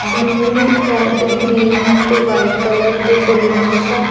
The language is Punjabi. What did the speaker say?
ਬਲੂ ਰੈੱਡ ਗਰੀਨ ਤੇ ਵ੍ਹਾਈਟ ਕਲਰ ਦੇ ਬੈਲੂੰਸ ਆ।